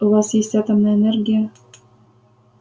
у вас есть атомная энергия